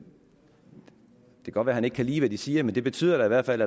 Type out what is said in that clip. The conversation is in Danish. godt være at han ikke kan lide det de siger men det betyder i hvert fald